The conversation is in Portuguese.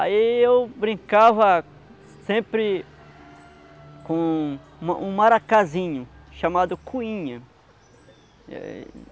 Aí eu brincava sempre com um um maracazinho chamado coinha.